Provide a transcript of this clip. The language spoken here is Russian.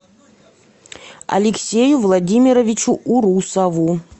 алексею владимировичу урусову